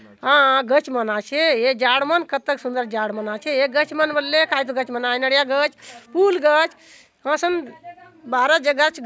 अ गच मन आचे ये झाड़ मन कतक सुंदर झाड़ मन आचे ये गच मन बलले कायतो गच मन आय नारिया गच फूल गच असन बारह जगह चो --